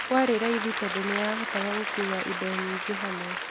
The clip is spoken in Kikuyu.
Kwarĩ raithi tondũ nĩyahotaga gũkua indo nyingĩ hamwe.